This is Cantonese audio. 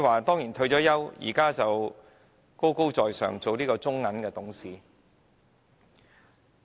她已退休，如今成為高高在上的中國銀行董事。